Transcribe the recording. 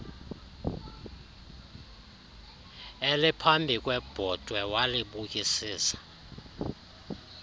eliphambi kwebhotwe walibukisisa